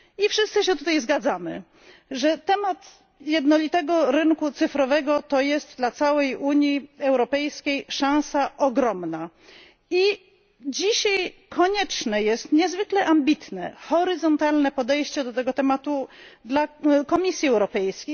Wszyscy się tutaj zgadzamy, że temat jednolitego rynku cyfrowego to dla całej Unii Europejskiej ogromna szansa i dzisiaj konieczne jest niezwykle ambitne, horyzontalne podejście do tego tematu przez Komisję Europejską.